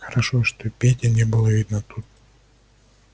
хорошо что пети не было видно тут